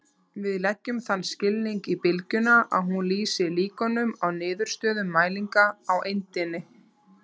Við leggjum þann skilning í bylgjuna að hún lýsi líkunum á niðurstöðum mælinga á eindinni.